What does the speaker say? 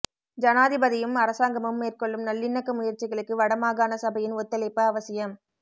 ஜனாதிபதியும் அரசாங்கமும் மேற்கொள்ளும் நல்லிணக்க முயற்சிகளுக்கு வடமாகாணசபையின் ஒத்துழைப்பு அவசியம்